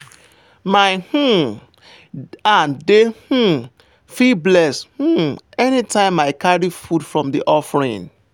my um hand dey um feel blessed um anytime i carry food from the offering.